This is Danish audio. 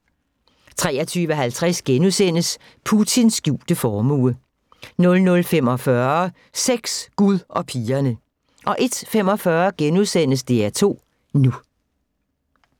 23:50: Putins skjulte formue * 00:45: Sex, Gud og pigerne 01:45: DR2 NU *